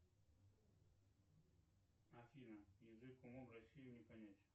афина язык умом россию не понять